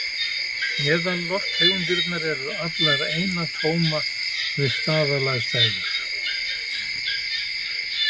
Eðalloftegundirnar eru allar einatóma við staðalaðstæður.